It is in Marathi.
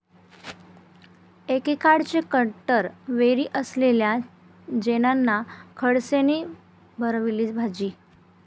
एकेकाळचे कट्टर वैरी असलेल्या जैनांना खडसेंनी भरवली भजी